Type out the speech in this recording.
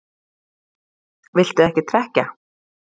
Viltu ekki trekkja?